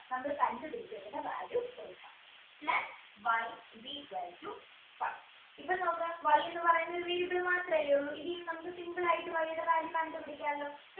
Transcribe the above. നമ്മൾ കണ്ടു പിടിച്ച value കൊടുക്കാം plus y is equal to five ഇപ്പോ നോക്കാം Y എന്ന് പറയുന്നത് ഒരു variable മാത്രമല്ലേ ഉള്ളൂ ഇനി നമുക്കിത് simple ആയിട്ട് Y ടെ കാര്യം കണ്ട് പിടിക്കാലോ